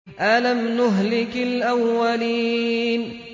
أَلَمْ نُهْلِكِ الْأَوَّلِينَ